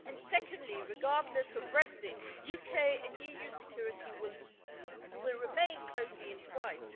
Secondly, regardless of Brexit, UK and EU security will remain closely entwined.